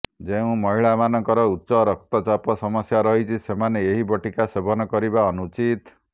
ଯେଉଁ ମହିଳାଙ୍କର ଉଚ୍ଚ ରକ୍ତଚାପ ସମସ୍ୟା ରହିଛି ସେମାନେ ଏହି ବଟିକା ସେବନ କରିବା ଅନୁଚିତ